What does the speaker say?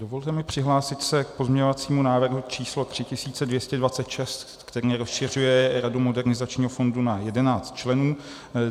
Dovolte mi přihlásit se k pozměňovacímu návrhu číslo 3226, který rozšiřuje radu Modernizačního fondu na 11 členů;